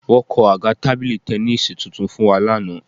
Wọ́n kan àga tábìlì tẹníìsì tuntun fún wa lánàá